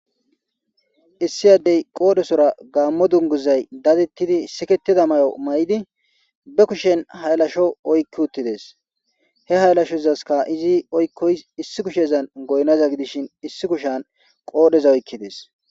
Issi addey qoodhesora gaammo dunguzay dadettidi siketida may'o may'idi be kushen haylasho oykki uttides he haylashozaska izi oykkoys issi kushezan goynaza gidishin issi kushan qoodheza oykkides.